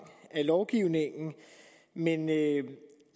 af lovgivningen men